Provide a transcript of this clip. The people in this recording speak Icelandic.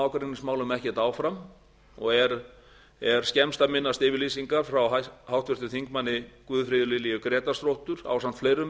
ágreiningsmálum ekkert áfram og er skemmst að minnast yfirlýsingar frá háttvirtum þingmanni guðfríði lilju grétarsdóttur ásamt fleirum